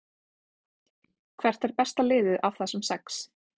Hvert er besta liðið af þessum sex?